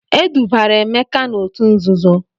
E dubara Emeka n'òtù nzuzo.